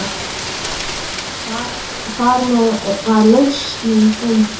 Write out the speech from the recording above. Þarmeð var lausnin fundin.